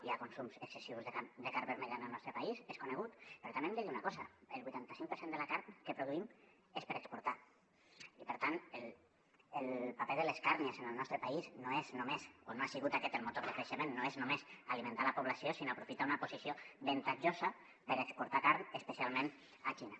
hi ha consums excessius de carn vermella en el nostre país és conegut però també hem de dir una cosa el vuitanta cinc per cent de la carn que produïm és per exportar i per tant el paper de les càrnies en el nostre país no és només o no ha sigut aquest el motor de creixement alimentar la població sinó aprofitar una posició avantatjosa per exportar carn especialment a la xina